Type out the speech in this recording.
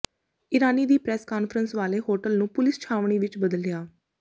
ਇਰਾਨੀ ਦੀ press conference ਵਾਲੇ hotel ਨੂੰ ਪੁਲਿਸ ਛਾਉਣੀ ਵਿਚ ਬਦਲਿਆ